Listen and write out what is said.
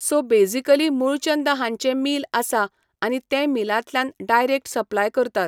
So basically Mulchand हांचें mill आसा आनी तें मिलांतल्यान डायरेक्ट सप्लाय करतात.